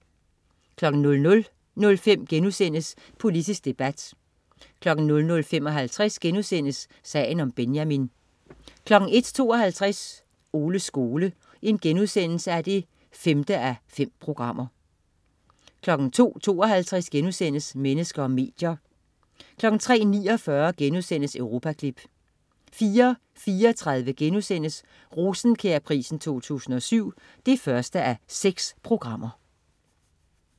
00.05 Politisk debat* 00.55 Sagen om Benjamin* 01.52 Oles skole 5:5* 02.52 Mennesker og medier* 03.49 Europaklip* 04.34 Rosenkjærprisen 2007 1:6*